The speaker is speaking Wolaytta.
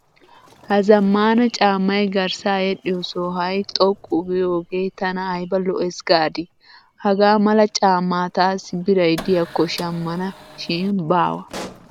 Ha zammaana caammay garssa yedhdhiyo sohay xoqqu giyogee tana ayba lo"ees gaadii. Hagaa mala caammaa taassi biray de'iyakko shammana shi baawa.